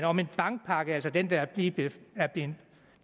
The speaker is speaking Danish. om en bankpakke altså den der lige er blevet